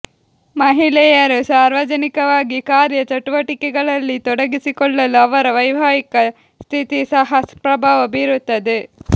ಮಹಿಳೆಯರು ಸಾರ್ವಜನಿಕವಾಗಿ ಕಾರ್ಯ ಚಟುವಟಿಕೆಗಳಲ್ಲಿ ತೊಡಗಿಕೊಳ್ಳಲು ಅವರ ವೈವಾಹಿಕ ಸ್ಥಿತಿ ಸಹ ಪ್ರಭಾವ ಬೀರುತ್ತದೆ